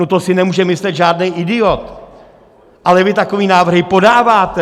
No to si nemůže myslet žádný idiot, ale vy takové návrhy podáváte!